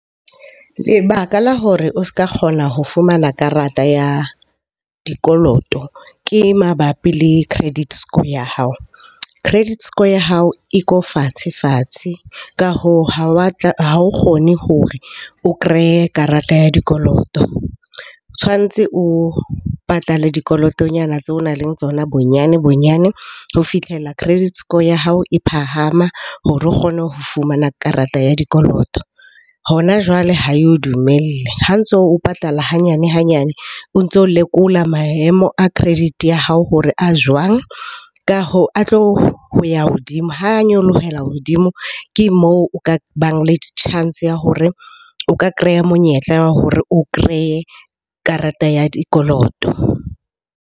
Lebaka la hore o s'ka kgona ho fumana karata ya dikoloto ke mabapi le credit score ya hao. Credit score ya hao e ko fatshe-fatshe. Ka hoo, ha wa tla, ha o kgone hore o kreye karata ya dikoloto. Tshwantse o patale dikolotonyana tseo o nang le tsona bonyane-bonyane ho fitlhela credit score ya hao e phahama hore o kgone ho fumana karata ya dikoloto. Hona jwale ha eo dumelle. Ha ntso o patala hanyane-hanyane, o ntso o lekola maemo a credit ya hao hore a jwang? Ka hoo, a tlo ho ya hodimo. Ha nyolohelang hodimo ke moo o ka bang le chance ya hore o ka kreya monyetla wa hore o kreye karata ya dikoloto.